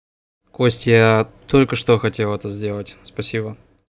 костя я только что хотел это сделать спасибо